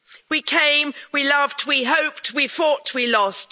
We came, we loved, we hoped, we fought, we lost.